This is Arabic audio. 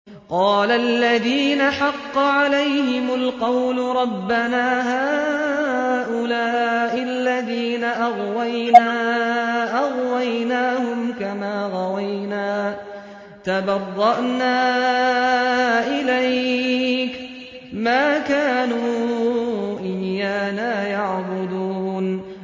قَالَ الَّذِينَ حَقَّ عَلَيْهِمُ الْقَوْلُ رَبَّنَا هَٰؤُلَاءِ الَّذِينَ أَغْوَيْنَا أَغْوَيْنَاهُمْ كَمَا غَوَيْنَا ۖ تَبَرَّأْنَا إِلَيْكَ ۖ مَا كَانُوا إِيَّانَا يَعْبُدُونَ